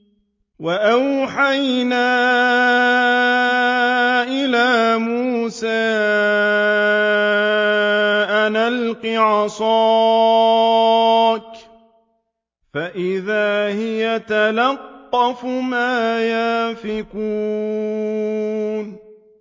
۞ وَأَوْحَيْنَا إِلَىٰ مُوسَىٰ أَنْ أَلْقِ عَصَاكَ ۖ فَإِذَا هِيَ تَلْقَفُ مَا يَأْفِكُونَ